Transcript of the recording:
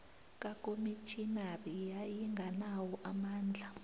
kakomitjhinari yayinganawo amandla